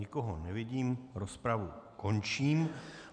Nikoho nevidím, rozpravu končím.